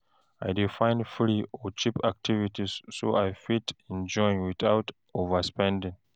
I dey find free or cheap activities so I fit enjoy without overspending.